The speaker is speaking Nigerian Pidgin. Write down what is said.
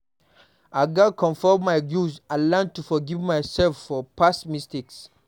I gats confront my guilt and learn to forgive myself for past mistakes.